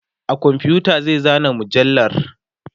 a komfuta zai zana mujallar